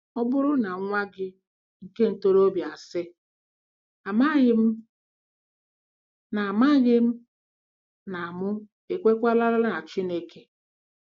Ọ bụrụ na nwa gị nke ntorobịa asị: “ Amaghịm na Amaghịm na mụ ekwekwara na Chineke.”